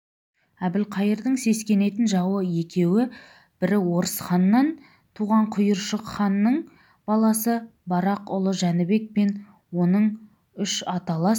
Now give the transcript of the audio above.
әбілқайырдың сескенетін жауы екеу бірі орыс ханнан туған құйыршық ханның баласы барақ ұлы жәнібек пен оның үш аталас